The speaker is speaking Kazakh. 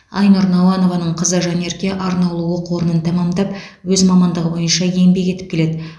айнұр науанованың қызы жанерке арнаулы оқу орнын тәмамдап өз мамандығы бойынша еңбек етіп келеді